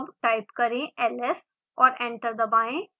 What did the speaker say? अब टाइप करें ls और एंटर दबाएं